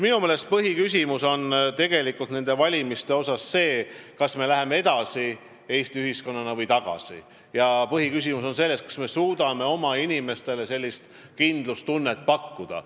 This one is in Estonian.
Minu meelest põhiküsimus on nende valimiste kontekstis on see, kas me läheme Eestis ühiskonnana edasi või tagasi ja kas me suudame oma inimestele kindlustunnet pakkuda.